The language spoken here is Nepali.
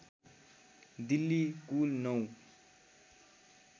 दिल्ली कुल नौ